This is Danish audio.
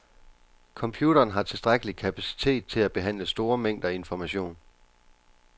Computeren har tilstrækkelig kapacitet til at behandle store mængder information.